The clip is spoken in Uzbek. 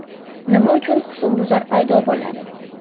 Nima uchun husnbuzar paydo bo‘ladi?